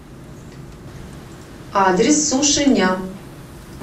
адрес суши ням